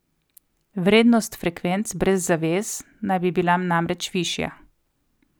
Vrednost frekvenc brez zavez naj bi bila namreč višja.